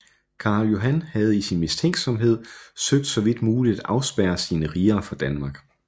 Carl Johan havde i sin mistænksomhed søgt så vidt muligt at afspærre sine riger fra Danmark